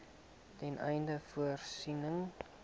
ten einde voorsiening